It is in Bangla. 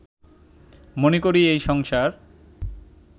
মনে করি, এই সংসার